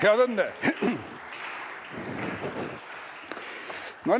Head õnne!